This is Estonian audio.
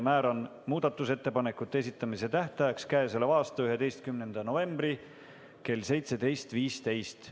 Määran muudatusettepanekute esitamise tähtajaks k.a 11. novembri kell 17.15.